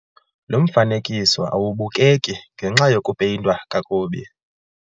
Lo mfanekiso awubukeki ngenxa yokupeyintwa kakubi.